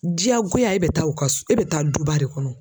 Diyagoya e bi taa u ka so e bɛ taa duba de kɔnɔ